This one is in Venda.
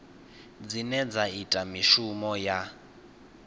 dzine dza ita mishumo ya